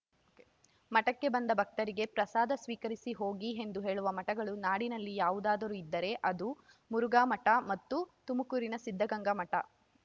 ಮಠಕ್ಕೆ ಬಂದ ಭಕ್ತರಿಗೆ ಪ್ರಸಾದ ಸ್ವೀಕರಿಸಿ ಹೋಗಿ ಎಂದು ಹೇಳುವ ಮಠಗಳು ನಾಡಿನಲ್ಲಿ ಯಾವುದಾದರೂ ಇದ್ದರೆ ಅದು ಮುರುಘಾಮಠ ಮತ್ತು ತುಮಕೂರಿನ ಸಿದ್ಧಗಂಗಾ ಮಠ